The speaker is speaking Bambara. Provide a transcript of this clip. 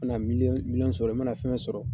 Mana miliyɔn miliyɔn sɔrɔ, i mana fɛn fɛn sɔrɔ